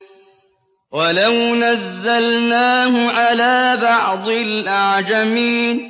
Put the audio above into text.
وَلَوْ نَزَّلْنَاهُ عَلَىٰ بَعْضِ الْأَعْجَمِينَ